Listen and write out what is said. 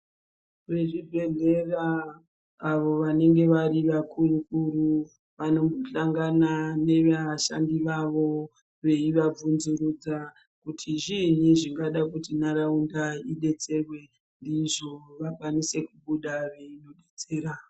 Vezvibhehlera avo vanenge vari vakurukuru vanohlangana nevashandi vavo veivabvunzurudza kuti zviinyi zvingade kuti nharaunda idetserwe ndizvo ,vakwanise kubuda veidetsera.